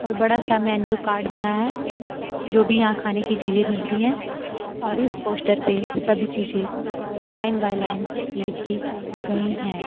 और बड़ा सा मेनू कार्ड बना है जो भी यहां खाने की चीजें मिलती हैं और इस पोस्टर पे सभी चीजें लाइन बाय लाइन लिखी गई हैं।